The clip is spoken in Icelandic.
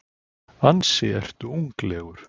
Ansi ertu unglegur.